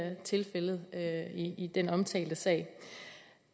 er tilfældet i den omtalte sag